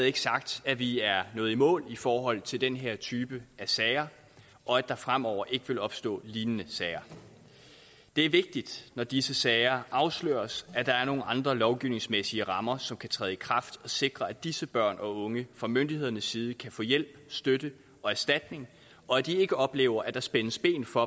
ikke sagt at vi er nået i mål i forhold til den her type af sager og at der fremover ikke vil opstå lignende sager det er vigtigt når disse sager afsløres at der er nogle andre lovgivningsmæssige rammer som kan træde i kraft og sikre at disse børn og unge fra myndighedernes side kan få hjælp støtte og erstatning og at de ikke oplever at der spændes ben for